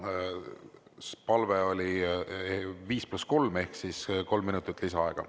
Palve oli 5 + 3 ehk kolm minutit lisaaega.